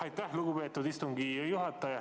Aitäh, lugupeetud istungi juhataja!